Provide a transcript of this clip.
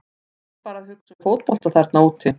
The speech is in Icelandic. Þú ert bara að hugsa um fótbolta þarna úti.